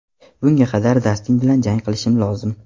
Bunga qadar Dastin bilan jang qilishim lozim.